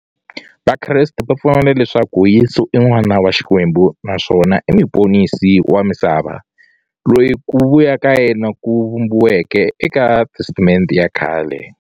Vakreste va pfumela leswaku Yesu i n'wana wa Xikwembu naswona i muponisi wa misava, loyi ku vuya ka yena ku vhumbiweke eka Testamente ya khale.